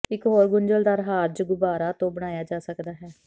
ਇੱਕ ਹੋਰ ਗੁੰਝਲਦਾਰ ਹਾਰਜ ਗੁਬਾਰਾ ਤੋਂ ਬਣਾਇਆ ਜਾ ਸਕਦਾ ਹੈ